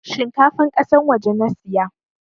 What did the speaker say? Shinkafan kasan waje nasiya